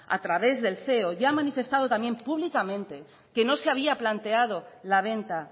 a través del ceo ya ha manifestado también públicamente que no se había planteado la venta